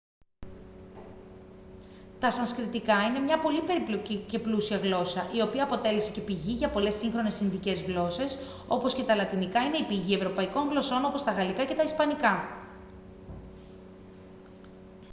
τα σανσκριτικά είναι μια πολύ περίπλοκη και πλούσια γλώσσα η οποία αποτέλεσε και πηγή για πολλές σύγχρονες ινδικές γλώσσες όπως και τα λατινικά είναι η πηγή ευρωπαϊκών γλωσσών όπως τα γαλλικά και τα ισπανικά